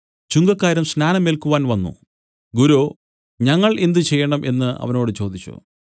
ചുങ്കക്കാരും സ്നാനം ഏൽക്കുവാൻ വന്നു ഗുരോ ഞങ്ങൾ എന്തുചെയ്യണം എന്നു അവനോട് ചോദിച്ചു